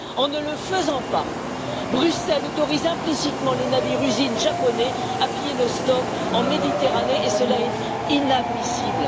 En ne le faisant pas, Bruxelles autorise implicitement les navires usines japonais à piller nos stocks en Méditerranée, et cela est inadmissible.